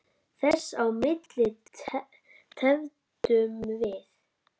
Þess á milli tefldum við.